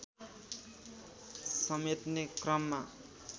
समेट्ने क्रममा